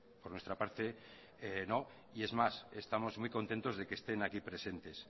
por nuestra parte no y es más estamos muy contentos de que estén aquí presentes